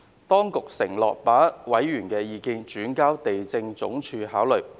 當局承諾把委員的意見轉交地政總署考慮。